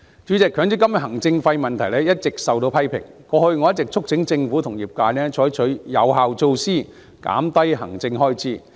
主席，強積金行政費問題一直受到批評，過去我一直促請政府和業界採取有效措施，減低行政開支。